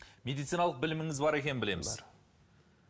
медициналық біліміңіз бар екенін білеміз бар